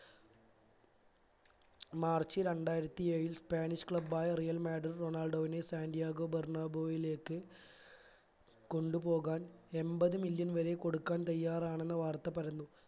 March രണ്ടായിരത്തി ഏ ഴിൽ spanish club ആയ real മാഡ്രിഡ് റൊണാൾഡോവിനെ സാന്റിയാഗോ ബെർനാബോവിലേക്ക് കൊണ്ട് പോകാൻ എൺപത് million വരെ കൊടുക്കാൻ തയ്യാറാണെന്ന് എന്ന വാർത്ത പരന്നു